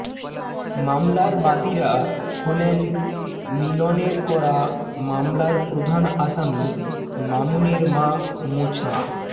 মামলার বাদীরা হলেন মিলনের করা মামলার প্রধান আসামি মামুনের মা মোছা